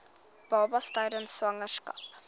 babas tydens swangerskap